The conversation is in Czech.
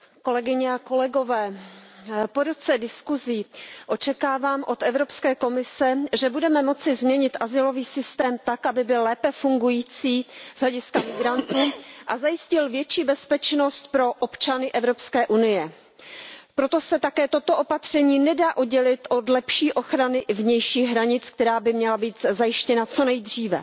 Pane předsedající, po roce diskusí očekávám od Evropské komise, že budeme moci změnit azylový systém tak, aby byl lépe fungující z hlediska migrantů a zajistil větší bezpečnost pro občany Evropské unie. Proto se také toto opatření nedá oddělit od lepší ochrany vnějších hranic, která by měla být zajištěna co nejdříve.